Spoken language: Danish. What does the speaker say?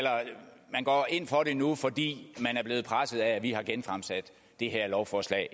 man går ind for det nu fordi man er blevet presset af at vi har genfremsat det her lovforslag